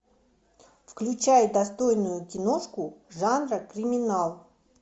включай достойную киношку жанра криминал